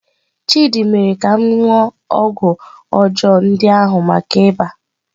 Chidị mere ka m ṅụọ ọgwụ ọjọọ ndị ahụ maka iba.